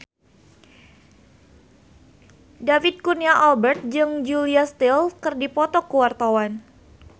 David Kurnia Albert jeung Julia Stiles keur dipoto ku wartawan